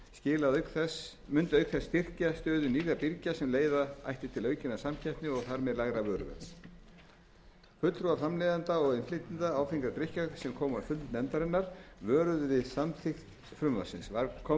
kjarnavörur mundi auk þess styrkja stöðu nýrra birgja sem leiða ætti til aukinnar samkeppni og þar með lægra vöruverðs fulltrúar framleiðenda og innflytjenda áfengra drykkja sem komu á fund nefndarinnar vöruðu við samþykkt frumvarpsins kom fram